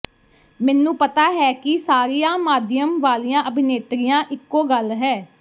ਮੈਨੂੰ ਪਤਾ ਹੈ ਕਿ ਸਾਰੀਆਂ ਮਾਧਿਅਮ ਵਾਲੀਆਂ ਅਭਿਨੇਤਰੀਆਂ ਇਕੋ ਗੱਲ ਹੈ